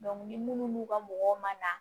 ni munnu n'u ka mɔgɔw ma